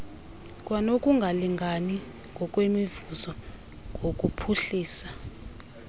kwanokungalingani ngokwemivuzo ngokuphuhlisa